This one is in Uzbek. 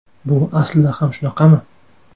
Bu aslida ham shunaqami?